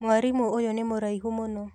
Mwarimũ ũyũ nĩ mũraihu mũno